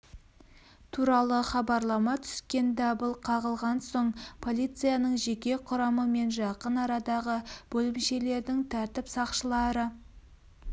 туралы хабарлама түскен дабыл қағылған соң полицияның жеке құрамы мен жақын арадағы бөлімшелердің тәртіп сақшылары